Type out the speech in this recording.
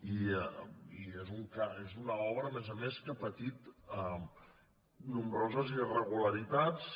i és una obra a més a més que ha patit nombroses irregularitats